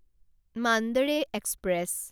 Mandore express